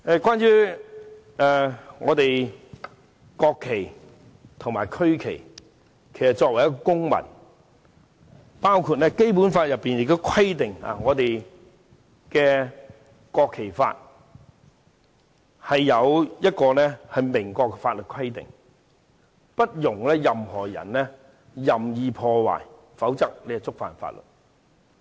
關於國旗和區旗，其實作為一位公民，《基本法》亦規定......《國旗及國徽條例》有明確的法律規定，禁止任何人任意破壞國旗，否則便屬違法。